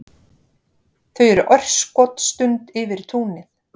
Þau eru örskotsstund yfir túnið.